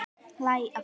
Hlæ aftur.